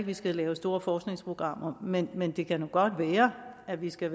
vi skal lave store forskningsprogrammer men men det kan godt være at vi skal